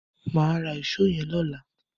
Máa ra ìṣó yẹn lọ́la.